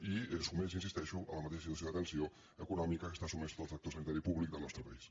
i és sotmès hi insisteixo a la mateixa situació de tensió econòmica que està sotmès tot el sector sanitari públic del nostre país